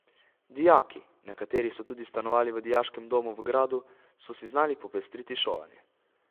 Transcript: Dijaki, nekateri so tudi stanovali v dijaškem domu v gradu, so si znali popestriti šolanje.